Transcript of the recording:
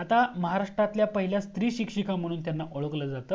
आता महारास्ट्रत्ल्य पहिल्या स्त्री शिक्षिका म्हणून ओळखल जात